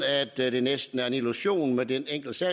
at det næsten er en illusion med den enkelte